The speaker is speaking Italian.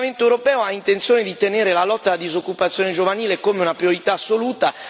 Il Parlamento europeo ha intenzione di mantenere la lotta alla disoccupazione giovanile come una priorità assoluta.